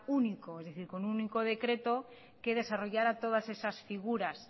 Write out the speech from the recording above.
único es decir con un único decreto que desarrollara todas esas figuras